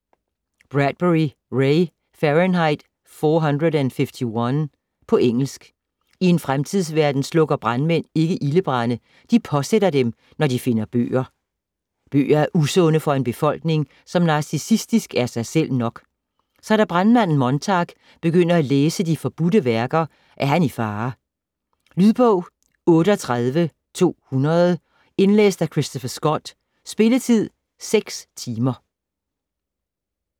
Bradbury, Ray: Fahrenheit 451 På engelsk. I en fremtidsverden slukker brandmænd ikke ildebrande. De påsætter dem, når de finder bøger. Bøger er usunde for en befolkning, som narcissistisk er sig selv nok. Så da brandmanden Montag begynder at læse de forbudte værker, er han i fare. Lydbog 38200 Indlæst af Christopher Scott Spilletid: 6 timer, 0 minutter.